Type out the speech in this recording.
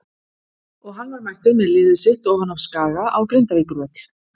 Og hann var mættur með liðið sitt ofan af Skaga á Grindavíkurvöll.